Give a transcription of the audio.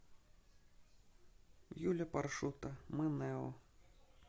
юля паршута мы нео